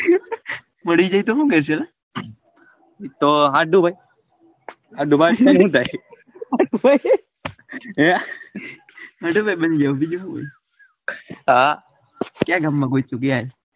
મળી જાય તો હું લેશો તો હંધું ભાઈ હંધું ભાઈ હંધું ભાઈ બની જાઉં બીજું હું હોય હા ક્યાં ગામ ના